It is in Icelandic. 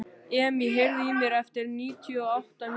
Emý, heyrðu í mér eftir níutíu og átta mínútur.